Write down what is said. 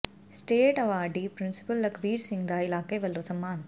state awardee principal Lakhbir Singh ਦਾ ਇਲਾਕੇ ਵੱਲੋਂ ਸਨਮਾਨ